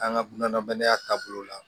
An ka bunahadamadenya taabolo la